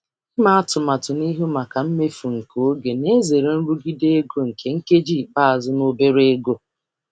Ịhazi n'ihu maka mmefu oge nke na-egbochi nrụgide ego nke ikpeazụ um na ego dị ntakịrị.